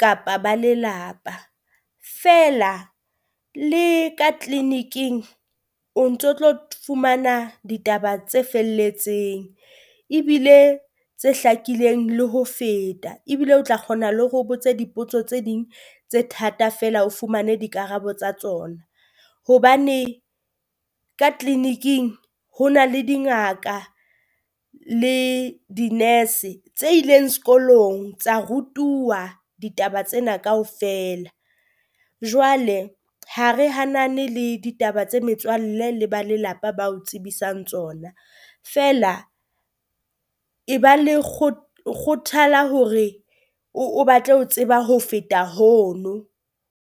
kapa ba lelapa, feela le ka clinic-ing o ntso tlo fumana ditaba tse felletseng. Ebile tse hlakileng le ho feta ebile o tla kgona le hore o botse dipotso tse ding tse thata feela o fumane dikarabo tsa tsona, hobane ka clinic-ing ho na le dingaka le di nurse tse ileng sekolong tsa rutuwa ditaba tsena kaofela. Jwale ha re hanane le ditaba tse metswalle le ba lelapa ba o tsebisang tsona, feela e ba le kgothala hore o o batle ho tseba ho feta hono.